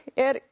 er